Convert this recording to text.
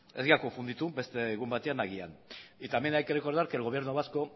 ez dira konfunditu beste egun batean agian y también hay que recordar que el gobierno vasco